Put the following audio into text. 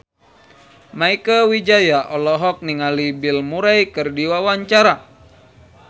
Mieke Wijaya olohok ningali Bill Murray keur diwawancara